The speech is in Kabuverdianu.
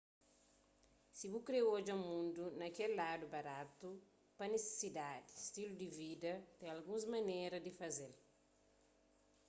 si bu kre odja mundu pa kel ladu baratu pa nisisidadi stilu di vida ten alguns maneras di faze-l